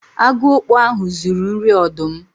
Agu okpo ahu zuru nri ọdụm